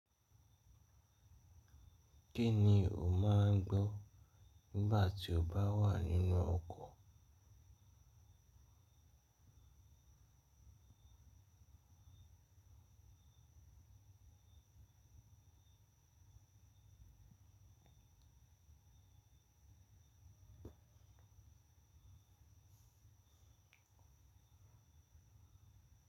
Kí ni o máa ń gbọ́ nígbà tí o bá wà nínú ọkọ̀?